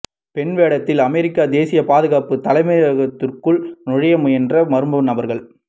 பெண் வேடத்தில் அமெரிக்க தேசிய பாதுகாப்பு தலைமையகதிற்குள் நுழைய முயன்ற மர்ம நபர்கள்